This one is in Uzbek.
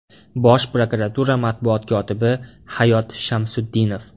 Bosh prokuratura matbuot kotibi Hayot Shamsutdinov.